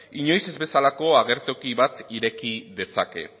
inoiz ez bezalako agertoki bat ireki dezake